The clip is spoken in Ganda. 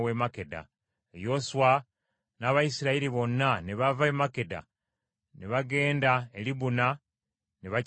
Yoswa n’Abayisirayiri bonna ne bava e Makkeda, ne bagenda e Libuna ne bakizinda,